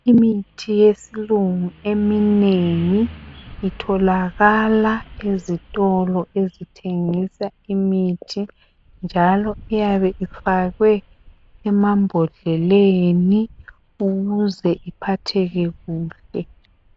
Imithi yesilungu eminengi itholakala ezitolo ezithengisa imithi njalo iyabe ifakwe emambodleleni ukuze iphatheke kuhle.